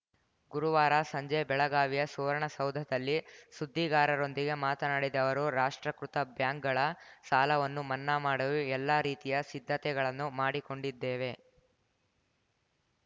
ಗುರುವಾರ ಸಂಜೆ ಬೆಳಗಾವಿಯ ಸುವರ್ಣಸೌಧದಲ್ಲಿ ಸುದ್ದಿಗಾರರೊಂದಿಗೆ ಮಾತನಾಡಿದ ಅವರು ರಾಷ್ಟ್ರೀಕೃತ ಬ್ಯಾಂಕ್‌ಗಳ ಸಾಲವನ್ನು ಮನ್ನಾ ಮಾಡಲು ಎಲ್ಲಾ ರೀತಿಯ ಸಿದ್ಧತೆಗಳನ್ನು ಮಾಡಿಕೊಂಡಿದ್ದೇವೆ